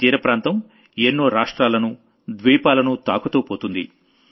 ఈ తీర ప్రాంతం ఎన్నో రాష్ట్రాలను ద్వీపాలను తాకుతూ పోతుంది